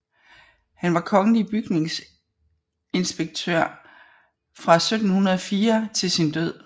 Han var kongelig bygningsinspektør fra 1704 til sin død